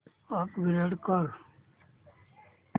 upgrade कर